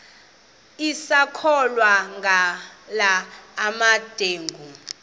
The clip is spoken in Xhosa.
sisakholwa ngala mabedengu